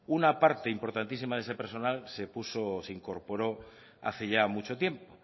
una parte importantísima de ese personal se incorporó hace ya mucho tiempo